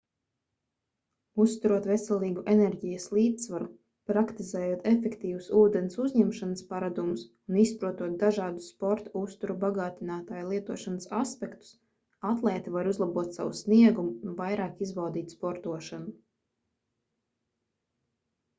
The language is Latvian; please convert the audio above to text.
uzturot veselīgu enerģijas līdzsvaru praktizējot efektīvus ūdens uzņemšanas paradumus un izprotot dažādus sporta uztura bagātinātāju lietošanas aspektus atlēti var uzlabot savu sniegumu un vairāk izbaudīt sportošanu